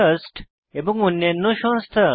trust এবং অন্যান্য সংস্থা